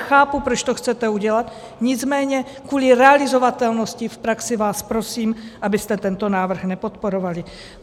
Chápu, proč to chcete udělat, nicméně kvůli realizovatelnosti v praxi vás prosím, abyste tento návrh nepodporovali.